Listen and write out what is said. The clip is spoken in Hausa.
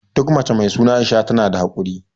Duk mace mai suna Aisha tana da hakuri.